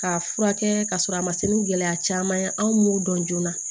K'a furakɛ k'a sɔrɔ a ma se ni gɛlɛya caman ye anw m'o dɔn joona